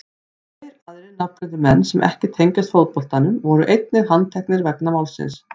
Tveir aðrir nafngreindir menn sem ekki tengjast fótboltanum voru einnig handteknir vegna málsins.